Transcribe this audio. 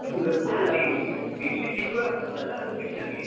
English improve ಆಗ್ತದೆ ಅಲ್ವ ಅದು ಖುಷಿ ನಮ್ಗೆ.